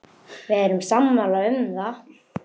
Við erum sammála um það.